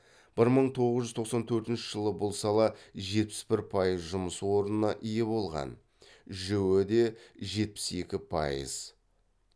бір мың тоғыз жүз тоқсан төртінші жылы бұл сала жетпіс бір пайыз жұмыс орнына ие болған жіө де жетпіс екі пайыз